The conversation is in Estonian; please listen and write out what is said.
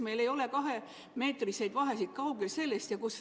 Meil ei ole kahemeetriseid vahesid –kaugel sellest!